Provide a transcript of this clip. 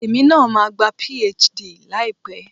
Èmi náà máa gba PhD láìpẹ́